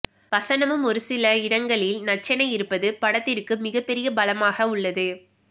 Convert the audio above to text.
வசனமும் ஒரு சில இடங்களில் நச்சென இருப்பது படத்திற்கு மிகப்பெரிய பலமாக உள்ளது